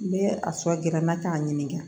N bɛ a sɔ gɛrɛ na k'a ɲininka